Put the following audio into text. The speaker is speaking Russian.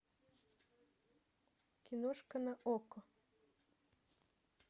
киношка на окко